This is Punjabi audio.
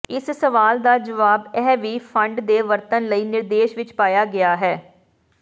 ਇਸ ਸਵਾਲ ਦਾ ਜਵਾਬ ਇਹ ਵੀ ਫੰਡ ਦੇ ਵਰਤਣ ਲਈ ਨਿਰਦੇਸ਼ ਵਿੱਚ ਪਾਇਆ ਗਿਆ ਹੈ